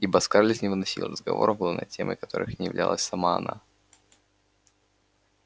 ибо скарлетт не выносила разговоров главной темой которых не являлась сама она